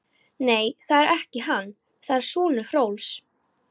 Nei, það er ekki hann, það er sonur Hrólfs.